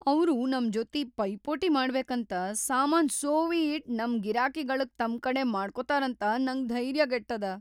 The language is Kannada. ಅವ್ರು ನಮ್‌ ಜೊತಿ ಪೈಪೋಟಿ ಮಾಡ್ಬೇಕಂತ ಸಾಮಾನ್ ಸೋವಿ‌ ಇಟ್‌ ನಮ್ ಗಿರಾಕಿಗಳಿಗ್‌ ತಮ್ ಕಡೆ ಮಾಡ್ಕೋತಾರಂತ ನಂಗ್ ಧೈರ್ಯ್‌ಗೆಟ್ಟದ.